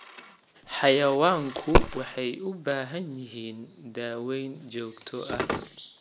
Xayawaanku waxay u baahan yihiin daaweyn joogto ah.